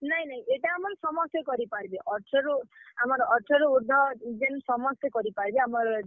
ନାଇଁ ନାଇଁ ଇଟା ଆମର୍ ସମସ୍ତେ କରି ପାର୍ ବେ ଅଠର ରୁ, ଆମର୍ ଅଠର ରୁ ଉର୍ଦ୍ଧ ଜେନ୍ ସମସ୍ତେ କରିପାର୍ ବେ, ଆମର୍।